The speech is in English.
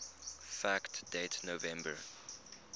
fact date november